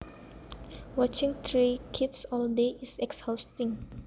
Watching three kids all day is exhausting